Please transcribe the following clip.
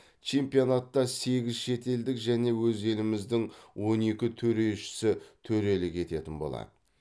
чемпионатта сегіз шетелдік және өз еліміздің он екі төрешісі төрелік ететін болады